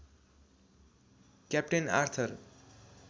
captain Arthur